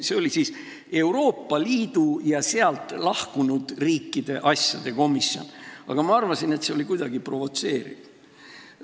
See oli siis Euroopa Liidu ja sealt lahkunud riikide asjade komisjon, aga ma arvasin, et see on kuidagi provotseeriv.